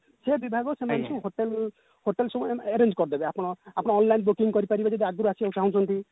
ବିଭାଗ ସେମାନେ ସବୁ hotel hotel ସବୁ hiring କରିଦେବେ ଆପଣ online booking କରିପାରିବେ ଯଦି ଆଗରୁ ଆସିବାକୁ ଚହୁଁଛନ୍ତି